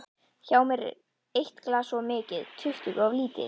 Hjá mér er eitt glas of mikið, tuttugu of lítið.